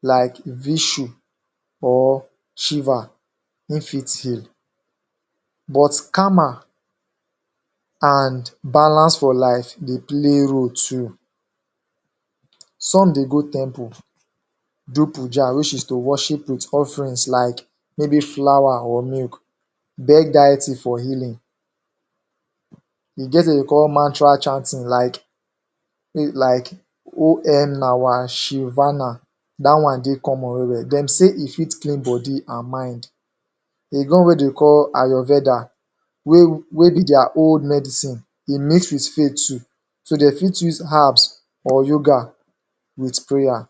like Vishu or Shiva, ein fit heal, but Karma and balance for life dey play role too. Some dey go temple do poojah which is to worship with offerings like maybe flower or milk, beg diety for healing E get wetin de dey call mantra chanting like onnawashilvana Dat one dey common well-well; dem say e fit clean body an mind. E get one wey de dey call Ayovedah wey be dia own medicine. E mix with faith too. So, de fit use herbs or yoga with prayer.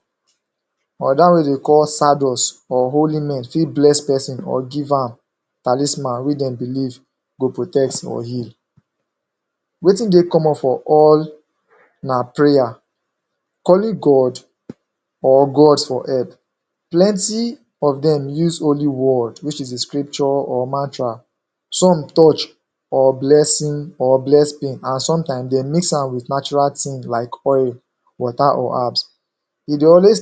Another one wey de call Sadus or Holy men fit bless peson or give am talisman wey dem believe go protect or heal. Wetin dey common for all na prayer— calling God or gods for help. Plenty of dem use holy word which is the scripture or mantra. Some touch or bless an sometime, de mix am with natural tin like oil. water or herbs. E dey always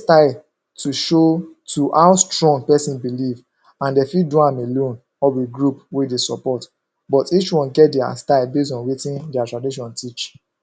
to show to how strong peson believe an dey fit do am alone or with group wey dey support, but each one get dia style based on wetin dia tradition teach.